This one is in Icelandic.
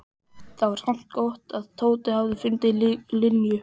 Það var samt gott að Tóti hafði fundið Linju.